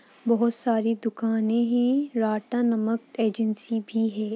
बोहोत सारी दुकाने हैं। नमक एजेंसी भी है।